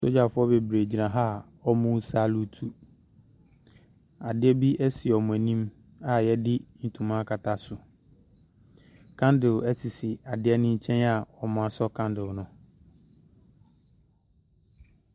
Sogyafoɔ bebree gyina ha a wɔresaluutu, adeɛ bi si wɔn anim a wɔde ntoma akata so, candle sisi adeɛ no nkyɛn a wɔasɔ candle no.